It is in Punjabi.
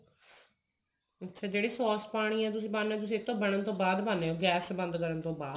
ਅੱਛਾ ਜਿਹੜੀ sos ਪਾਉਣੀ ਹੈ ਇਹ ਤਾਂ ਬਣਨ ਤੋਂ ਬਾਅਦ ਪਾਉਂਦੇ ਹੋ ਗੈਸ ਬੰਦ ਕਰਨ ਤੋਂ ਬਾਅਦ